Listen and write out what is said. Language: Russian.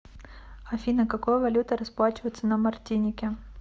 афина какой валютой расплачиваются на мартинике